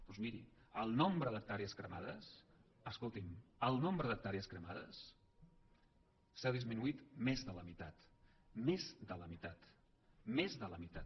doncs miri el nombre d’hectàrees cremades escolti’m el nombre d’hectàrees cremades s’ha disminuït més de la meitat més de la meitat més de la meitat